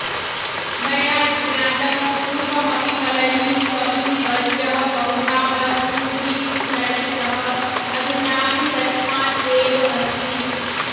मया ज्ञातं पूर्वमपि पलनीस्वमीवर्यः बहुधा वस्तूनि विस्मरति सः अधुनापि तस्मात् एव अस्ति